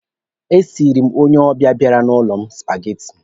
E siiri m onye ọbịa bịara n'ụlọ m supageti.